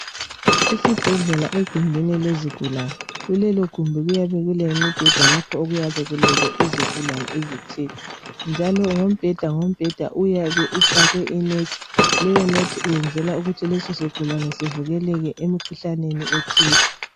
Esibhedlela egumbini elezigulane, kulelo gumbi kuyabe kulemibheda lapho okuyabe kulele izigulane ezithile njalo ngombheda ngombheda uyabe ufakwe inethi leyo nethi iyenzelwa ukuthi leso sigulane sivikeleke emikhuhlaneni ethile.